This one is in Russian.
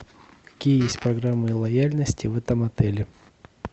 какие есть программы лояльности в этом отеле